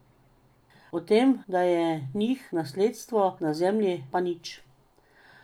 O tem, da je njih nasledstvo na zemlji, pa nič.